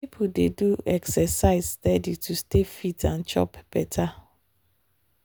people dey do exercise steady to stay fit and chop better. um